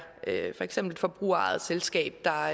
for eksempel et forbrugerejet selskab der